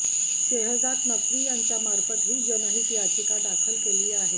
शेहजाद नक्वी यांच्यामार्फत ही जनहित याचिका दाखल केली आहे